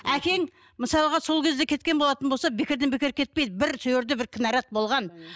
әкең мысалға сол кезде кеткен болатын болса бекерден бекер кетпейді бір сол жерде бір кінәрат болған